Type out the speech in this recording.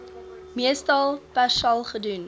meestal persal gedoen